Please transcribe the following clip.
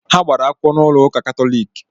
Ha gbara akwụkwọ n'ụlọ ụká Katọlik.